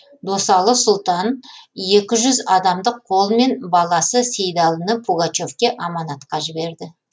досалы сұлтан екі жүз адамдық қолмен баласы сейдалыны пугачевке аманатқа жіберді